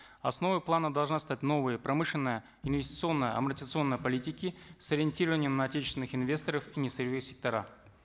основой плана должна стать новая промышленная инвестиционная политики с ориентированием на отечественных инвесторов и несырьевые сектора